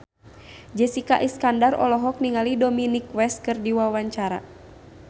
Jessica Iskandar olohok ningali Dominic West keur diwawancara